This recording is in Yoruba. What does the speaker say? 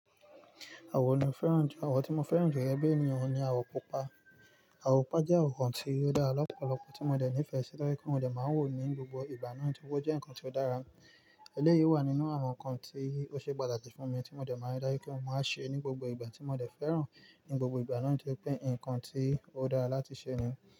Àwọ̀ wo ni mo fẹ́ràn jù. Àwọ̀ tí mo fẹ́ràn jù gege bi ènìyàn ohun ni àwọ̀ pupa. Àwọ̀ pupa jẹ́ àwọ̀ kan tí ó dára lọ́pọ̀lọpọ̀ tí mo dẹ̀ nífẹ̀si to je pé mò de máa ń wò ó ní gbogbo ìgbà náà tí ó jẹ́ ǹkan tí ó dára. Eléyìí wà nínú àwọn ǹkan tí ó ṣe pàtàkì fún mi tí mo dẹ̀ máa ń dáyé kí wọ́n máa ṣe ní gbogbo ìgbà tí mo dẹ̀ n fẹ́ràn ní gbogbo ìgbà náà toripé ǹkan tí ó dára láti ṣe ni.